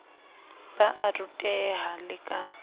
ba a ruteha le ka